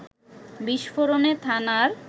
বিস্ফোরণে থানার